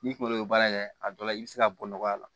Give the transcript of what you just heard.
N'i kolo baara kɛ a dɔw la i bɛ se ka bɔ nɔgɔya la